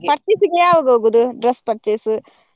Purchase ಗೆ ಯಾವಾಗ ಹೋಗುದು dress purchase ?